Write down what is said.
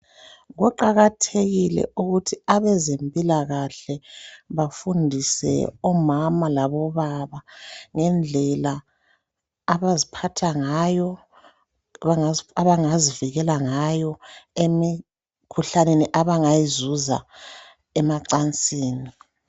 Kuqakathekile ukuthi abezempilakahle bafundise omama labobaba ngendlela abaziphatha ngayo abazibikela ngayo emikhuhlaneni abangayizuza emancansini.